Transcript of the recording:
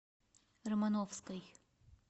романовской